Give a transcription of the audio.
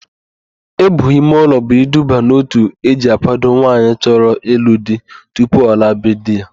Íbù imeụlọ bụ iduba n'òtù eji àkwádo nwaanyị chọrọ ịlụ di tupu ọ laa be di ya.